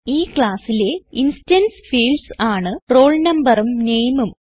ഈ classലെ instance fields ആണ് roll noഉം nameഉം